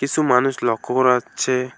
কিছু মানুষ লক্ষ্য করা যাচ্ছে।